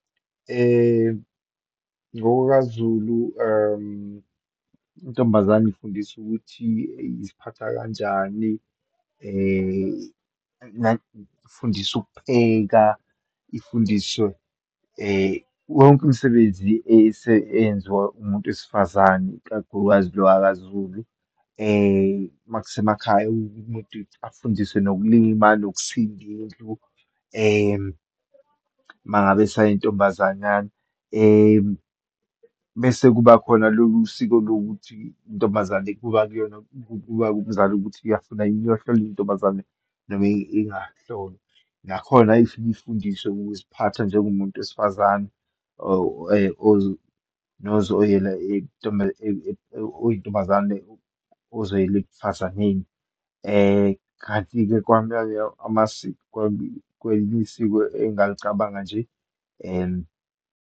NgokakuZulu intombazane ifundiswa ukuthi iziphatha kanjani, ifundiswa ukupheka, ifundiswe yonke imisebenzi ese enziwa umuntu wesifazane, ikakhulukazi lo wakaZulu. Uma kusemakhaya umuntu afundiswe nokulima nokusinda indlu, uma ngabe esayintombazanyana, mese kuba khona lolu siko lokuthi intombazane kuba kuyona, kuba kumzali ukuthi iyafuna yini iyohlolwa intombazane noma ingahlolwa. Nakhona ifike ifundiswe ukuziphatha njengomuntu wesifazane or nozoyela oyintombazane ozoyela ekufazaneni. Kanti-ke kwelinye isiko engingalicabanga nje .